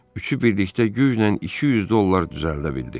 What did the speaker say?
Üçü birlikdə güclə 200 dollar düzəldə bildi.